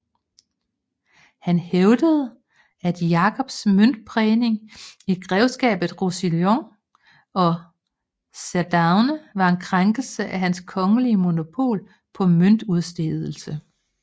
Han hævdede at Jakobs møntprægning i Grevskabet Roussillon og Cerdagne var en krænkelse af hans kongelige monopol på møntudstedelse